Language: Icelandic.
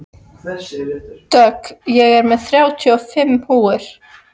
Dögg, ég kom með þrjátíu og fimm húfur!